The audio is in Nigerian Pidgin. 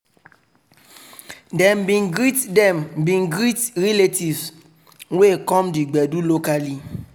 dem bin greet dem bin greet relatives wey come the gbedu locally.